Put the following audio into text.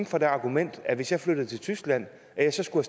for det argument at hvis jeg flyttede til tyskland skulle